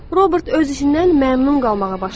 Robert öz işindən məmnun qalmağa başladı.